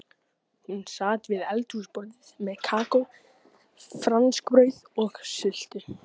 Hún sat við eldhúsborðið með kakó, franskbrauð og sultu.